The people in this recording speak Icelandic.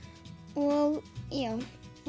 og já